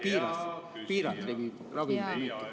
Hea küsija, teie aeg!